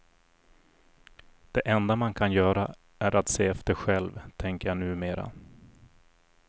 Det enda man kan göra är att se efter själv, tänker jag numera.